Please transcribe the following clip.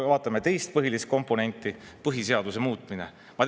Vaatame teist põhilist komponenti: põhiseaduse muutmine.